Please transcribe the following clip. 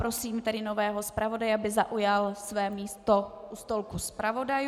Prosím tedy nového zpravodaje, aby zaujal své místo u stolku zpravodajů.